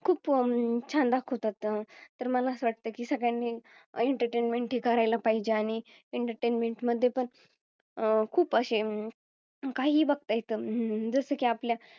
खूप छान दाखवतात तर मला असं वाटतं की सगळ्यांनी Entertainment हे करायला पाहिजे आणि Entertainment मध्ये पण आह खूप असे अं काहीही बघता येतं. हम्म जसं की आपल्या